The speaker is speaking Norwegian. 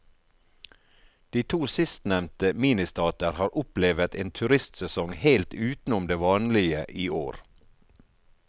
De to sistnevnte ministater har opplevet en turistsesong helt utenom det vanlige i år.